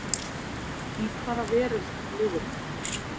Í hvaða veröld lifirðu?